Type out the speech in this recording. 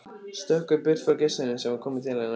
Stökkva í burtu frá gestinum sem var kominn til hennar.